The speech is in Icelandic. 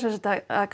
að